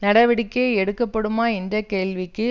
நடவடிக்கை எடுக்கப்படுமா என்ற கேள்விக்கும்